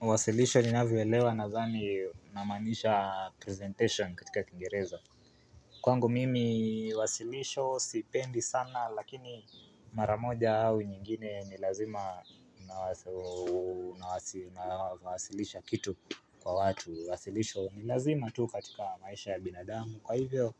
Wasilisho ninavyo elewa nadhani namaanishaa presentation katika kingereza. Kwangu mimi wasilisho sipendi sana lakini, mara moja au nyingine ni lazima aaa nawazo unawa si aaa wasilisha kitu kwa watu. Wasilisho ni lazima tu katika maisha ya binadamu kwa hivyo